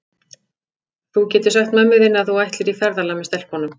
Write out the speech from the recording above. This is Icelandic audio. Þú getur sagt mömmu þinni að þú ætlir í ferðalag með stelpunum.